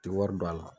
Ti wari don a la